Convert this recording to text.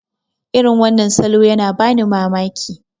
irin wannan salo yana bani mamaki